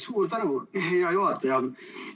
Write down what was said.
Suur tänu, hea juhataja!